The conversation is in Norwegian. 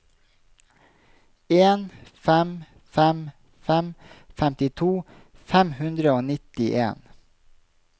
en fem fem fem femtito fem hundre og nittien